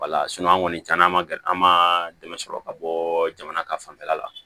Wala an kɔni caman ma an ma dɛmɛ sɔrɔ ka bɔ jamana ka fanfɛla la